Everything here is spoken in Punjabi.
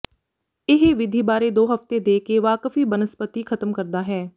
ਇਹ ਵਿਧੀ ਬਾਰੇ ਦੋ ਹਫ਼ਤੇ ਦੇ ਕੇ ਵਾਕਫੀ ਬਨਸਪਤੀ ਖਤਮ ਕਰਦਾ ਹੈ